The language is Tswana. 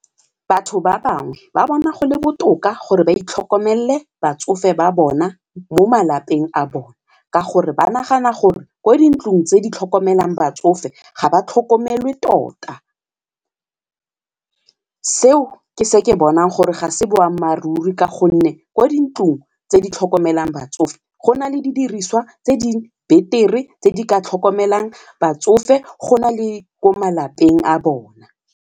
Batho ba bangwe ba bona go le botoka gore ba itlhokomelele batsofe ba bona mo malapeng a bone ka gore ba nagana gore ko dintlong tse di tlhokomelang batsofe ga ba tlhokomele tota. Seo ke se ke bonang gore ga se boammaaruri ka gonne kwa dintlong tse di tlhokomelang batsofe go na le didiriswa tse di betere tse di ka tlhokomelang batsofe go na le ko malapeng a bona.